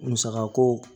Musaka ko